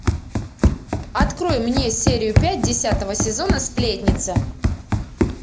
открой мне серию пять десятого сезона сплетница